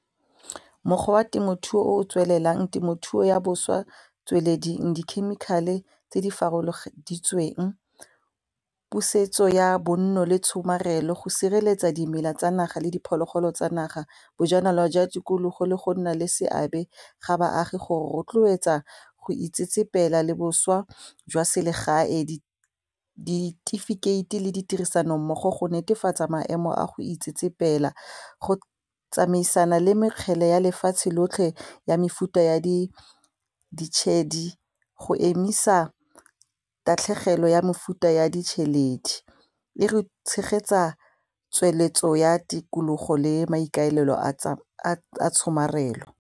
Mokgwa wa temothuo o tswelelang temothuo ya bošwa tsweledi di-chemical-e tse di farologaneditsweng, pusetso ya bonno le tshomarelo go sireletsa dimela tsa naga le diphologolo tsa naga, bojanala jwa tikologo le go nna le seabe ga baagi go rotloetsa go itsetsepela le bošwa jwa selegae, ditifikeiti le di tirisanommogo go netefatsa maemo a go itsetsepela go tsamaisana le mekgele ya lefatshe lotlhe ya mefuta ya ditšhedi go emisa tatlhegelo ya mefuta ya ditšheledi e re tshegetsa tsweletso ya tikologo le maikaelelo a tshomarelo.